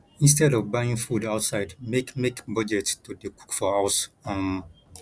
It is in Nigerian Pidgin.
instead of buying food outside make make budget to dey cook for house um